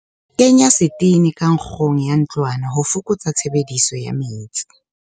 Kenya setene ka nkgong ya ntlwana ho fokotsa tshebediso ya metsi.